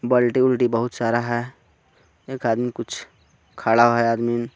बाल्टी उलटी बोहोत सारा हे एक आदमी कुछ खड़ा हे आदमिन.